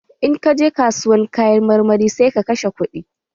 In ka je kasuwar Kayan marmari, sai ka kashe kuɗi.